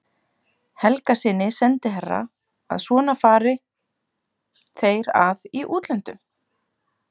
Helgasyni sendiherra að svona fari þeir að í útlöndum.